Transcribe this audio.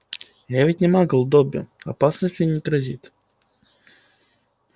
я ведь не магл добби опасность мне не грозит